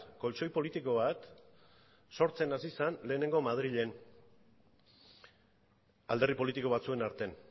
koltxoi politiko bat sortzen hasi zen lehenengo madrilen alderdi politiko batzuen artean